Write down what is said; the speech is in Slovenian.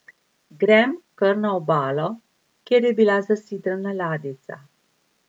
Grem kar na obalo, kjer je bila zasidrana ladjica.